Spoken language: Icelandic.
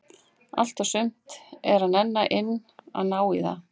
Allt og sumt er að nenna inn að ná í það.